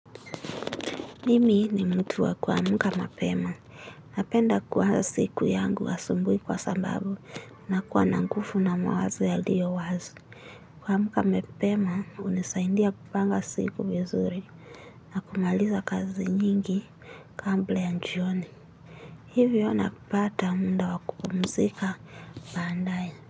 Mimi ni mtu wa kuamka mapema. Napenda kuanza siku yangu asubuhi kwa sababu nakuwa nanguvu na mawazo yaliyo wazi. Kuamka mapema hunisaidia kupanga siku vizuri. Na kumaliza kazi nyingi. Kabla ya jioni. Hivyo na kupata muda wakupumzika baadaye.